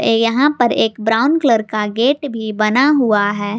यहां पर एक ब्राउन कलर का गेट भी बना हुआ है।